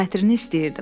Xətrini istəyirdim.